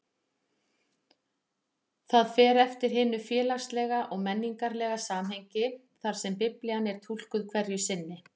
Það fer eftir hinu félagslega og menningarlega samhengi þar sem Biblían er túlkuð hverju sinni.